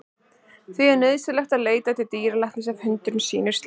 Því er nauðsynlegt að leita til dýralæknis ef hundurinn sýnir slíka hegðun.